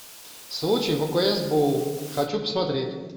случай в окс боу хочу посмотреть